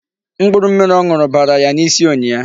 Mkpụrụ mmiri ọ ṅụrụ bara ya n'isi ụnyịa.